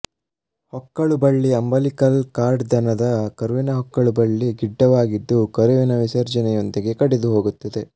ಹೊಕ್ಕಳು ಬಳ್ಳಿ umbilical cord ದನದ ಕರುವಿನ ಹೊಕ್ಕಳು ಬಳ್ಳಿ ಗಿಡ್ಡವಾಗಿದ್ದು ಕರುವಿನ ವಿಸರ್ಜನೆಯೊಂದಿಗೆ ಕಡಿದು ಹೋಗುತ್ತದೆ